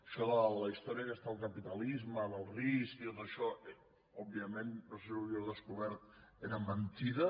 això de la història aquesta del capitalisme del risc i tot això òbviament no sé si ho havíeu descobert era mentida